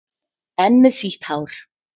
Enn með sítt hár.